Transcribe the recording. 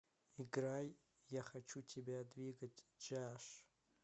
играй я хочу тебя двигать джиаш